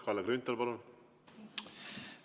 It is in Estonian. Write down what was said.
Kalle Grünthal, palun!